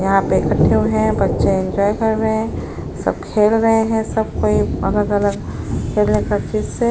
यहाँ पे कट्ठे हुए हैं बच्चे इन्जॉय कर रहे हैं सब खेल रहे हैं। सब कोई अलग-अलग खेलने का --